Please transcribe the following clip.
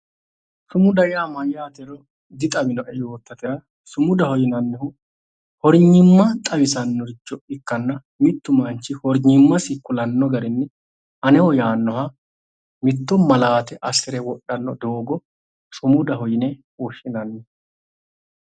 Sumuda yaa mayyaatero dixawinoe yootaatera, sumudaho yaa hornyimma xawisannoricho ikkanna mittu manchi maaiiymmasi kulanno garinni aneho yaannoha mitto malaate assire wodhanno doogo sumudaho yine woshshinanni.